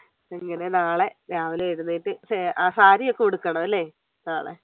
എങ്ങനെ നാളെ രാവിലെ എഴുന്നേറ്റ് ഏർ സാരിയൊക്കെ ഉടുക്കണം അല്ലെ നാളെ